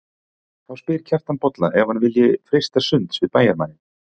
Þá spyr Kjartan Bolla ef hann vilji freista sunds við bæjarmanninn.